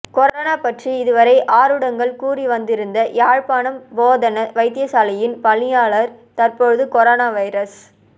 corona பற்றி இதுவரை ஆருடங்கள் கூறி வந்திருந்த யாழ்ப்பாணம் போதனா வைத்தியசாலையின் பணிப்பாளர் தற்போது கொரோனா வைரஸ்